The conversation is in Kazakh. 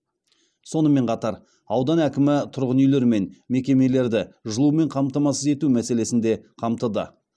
сонымен қатар аудан әкімі тұрғын үйлер мен мекемелерді жылумен қамтамасыз ету мәселесін де қамтыды